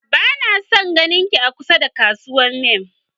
Bana son sake ganinki a kasuwar mammy